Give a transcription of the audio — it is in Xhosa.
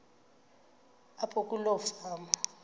apho kuloo fama